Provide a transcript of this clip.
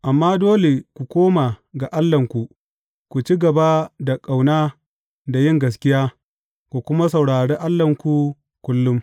Amma dole ku koma ga Allahnku; ku ci gaba da ƙauna da yin gaskiya, ku kuma saurari Allahnku kullum.